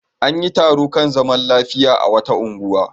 An yi taro kan zaman lafiya a wata unguwa.